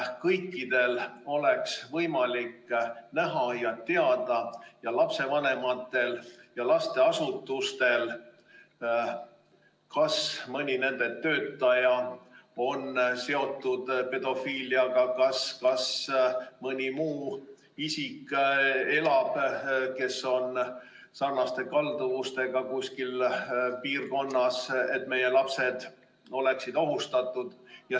Kõikidel lapsevanematel ja lasteasutustel peab olema võimalik teada, kui mõni nende töötaja on seotud pedofiiliaga või mõni muu isik, kes on sarnaste kalduvustega, elab kuskil lähedal, mistõttu meie lapsed on ohustatud.